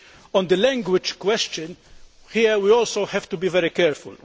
On the language question, here we also have to be very careful.